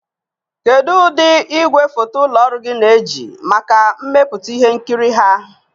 Kedu ụdị igwefoto ụlọ ọrụ gị na-eji maka mmepụta ihe nkiri ha?